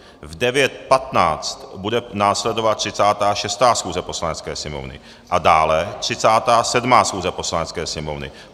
V 9.15 bude následovat 36. schůze Poslanecké sněmovny a dále 37. schůze Poslanecké sněmovny.